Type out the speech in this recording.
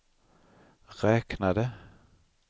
räknade